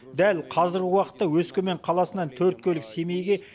дәл қазіргі уақытта өскемен қаласынан төрт көлік семейге